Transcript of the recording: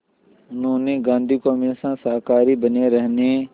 उन्होंने गांधी को हमेशा शाकाहारी बने रहने